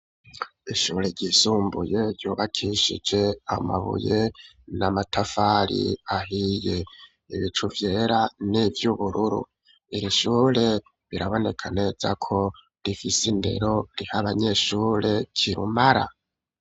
Ishure ryisumbuye ryubakishije amabuye n'amatafari ahiye, ibicu vyera n'ivy'ubururu, iri shure birabonekaneza ko rifise indero riha abanyeshure kirumara.